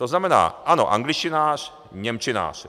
To znamená, ano, angličtinář, němčinář.